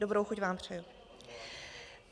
Dobrou chuť vám přeji.